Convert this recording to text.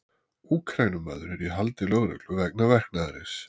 Úkraínumaður er í haldi lögreglu vegna verknaðarins.